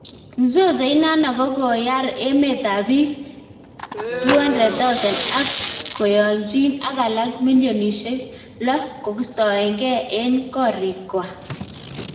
Mzozo inano kokoyar meet ap pik 200,000 ak koyaygn alak milionishek 6 kostagen en korikwak